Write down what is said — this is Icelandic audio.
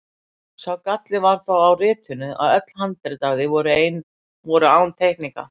Sá galli var þó á ritinu að öll handrit af því voru án teikninga.